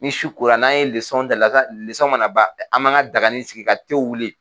Ni su ko la n'a ye dala mana ban an m'an ka daganin sigi ka te wuli.